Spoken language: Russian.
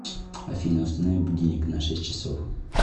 афина установи будильник на шесть часов